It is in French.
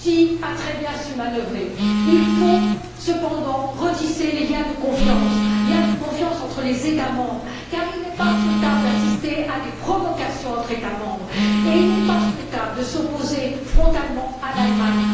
Monti a su très bien manœuvrer. Il faut cependant retisser les liens de confiance entre les États membres, car il n'est pas souhaitable d'assister à des provocations entre eux et il n'est pas souhaitable de s'opposer frontalement à l'Allemagne.